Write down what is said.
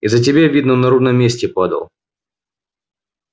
из за тебя видно он на ровном месте падал